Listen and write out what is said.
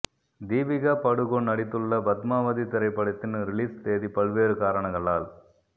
தீபிகா படுகோன் நடித்துள்ள பத்மாவதி திரைப்படத்தின் ரிலீஸ் தேதி பல்வேறு காரணங்களால்